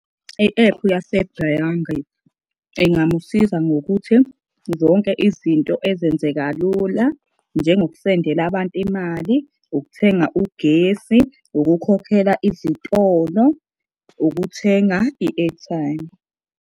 I-ephu yasebhengi ingamusiza ngokuthi zonke izinto ezenze kalula njengokusendela abantu imali, ukuthenga ugesi, ukukhokhela izitolo, ukuthenga i-airtime.